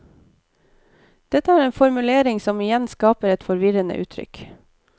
Dette er en formulering som igjen skaper et forvirrende inntrykk.